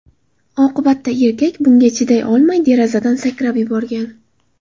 Oqibatda erkak bunga chiday olmay, derazadan sakrab yuborgan.